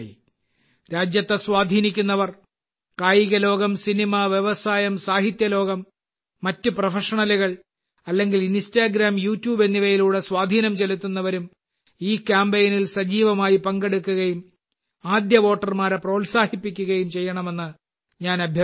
രാജ്യത്തെ സ്വാധീനിക്കുന്നവർ കായികലോകം സിനിമ വ്യവസായം സാഹിത്യലോകം മറ്റ് പ്രൊഫഷണലുകൾ അല്ലെങ്കിൽ ഇൻസ്റ്റാഗ്രാം യൂട്യൂബ് എന്നിവയിലൂടെ സ്വാധീനം ചെലുത്തുന്നവരും ഈ കാമ്പെയ്നിൽ സജീവമായി പങ്കെടുക്കുകയും ആദ്യ വോട്ടർമാരെ പ്രോത്സാഹിപ്പിക്കുകയും ചെയ്യണമെന്ന് ഞാൻ അഭ്യർത്ഥിക്കുന്നു